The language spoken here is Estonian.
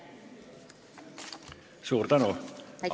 Suur tänu!